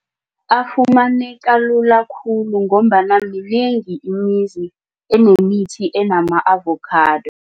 Afumaneka lula khulu ngombana minengi imizi enemithi enama-avocado.